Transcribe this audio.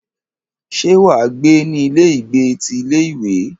Ṣé wà á gbé ní ilé ìgbé ti ilé ìwé?